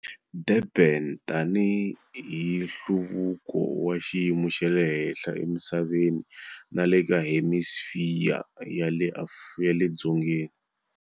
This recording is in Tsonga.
Durban tanihi hlaluko wa xiyimo xa le henhla emisaveni na le ka Hemisifiya ya le Dzongeni.